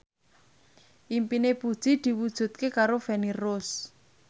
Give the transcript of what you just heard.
impine Puji diwujudke karo Feni Rose